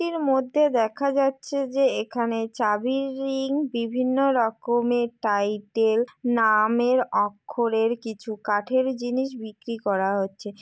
এর মধ্যে দেখা যাচ্ছে যে এখানে চাবির রিং বিভিন্ন রকমের টাইটেল নামের অক্ষরের কিছু কাঠের জিনিস বিক্রি করা হচ্ছে ।